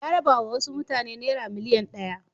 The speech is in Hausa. Ya rabawa wasu mutane naira miliyan ɗaya.